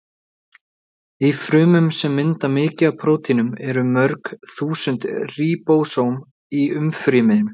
Í frumum sem mynda mikið af prótínum eru mörg þúsund ríbósóm í umfryminu.